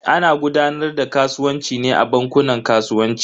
Ana gudanar da kasuwanci ne a bankunan kasuwanci.